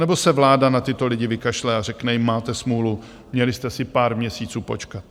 Anebo se vláda na tyto lidi vykašle a řekne jim, máte smůlu, měli jste si pár měsíců počkat.